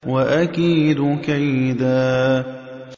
وَأَكِيدُ كَيْدًا